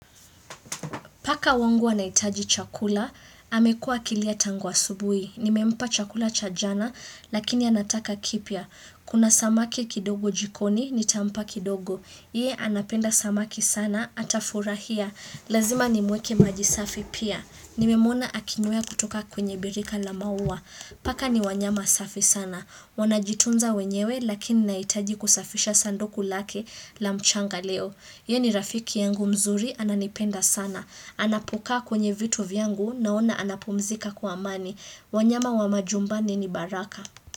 Paka wangu anahitaji chakula, amekua akilia tangu asubuhi. Nimempa chakula cha jana, lakini anataka kipya. Kuna samaki kidogo jikoni, nitampa kidogo. Yeye anapenda samaki sana, atafurahia. Lazima nimwekee maji safi pia. Nimemuona akinwea kutoka kwenye birika la maua. Paka ni wanyama safi sana. Wanajitunza wenyewe, lakini nahitaji kusafisha sanduku lake la mchanga leo. Yeye ni rafiki yangu mzuri, ananipenda sana. Anapokaa kwenye vitu vyangu naona anapumzika kwa amani. Wanyama wa majumbani ni baraka.